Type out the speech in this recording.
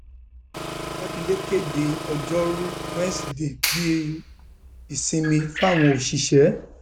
mákindé kéde ọjọrùú wíṣọdẹẹ bíi ìsinmi fáwọn òṣìṣẹ